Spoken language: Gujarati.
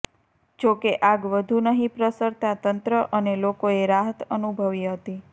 જો કે આગ વધુ નહીં પ્રસરતાં તંત્ર અને લોકોએ રાહત અનુભવી હતી